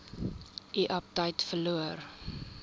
u aptyt verloor